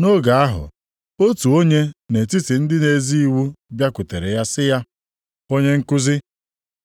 Nʼoge ahụ, otu onye nʼetiti ndị na-ezi iwu bịakwutere ya sị ya, “Onye nkuzi,